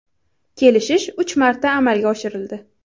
Kelishish uch marta amalga oshirildi.